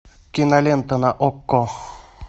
кинолента на окко